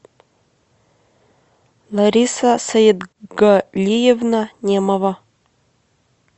лариса саетгалиевна немова